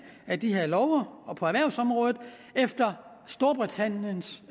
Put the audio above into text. af de her love på erhvervsområdet efter storbritanniens